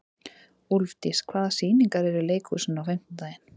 Úlfdís, hvaða sýningar eru í leikhúsinu á fimmtudaginn?